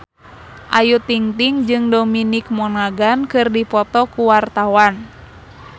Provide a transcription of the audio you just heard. Ayu Ting-ting jeung Dominic Monaghan keur dipoto ku wartawan